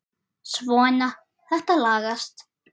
Svona, þetta lagast